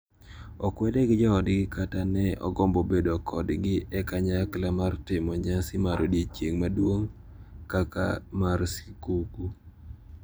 Okwede gi joodgi kata ne ogombo bedo kodgi e kanyakla mar timo nyasi mar odiechieng` maduong` kaka mar skuku.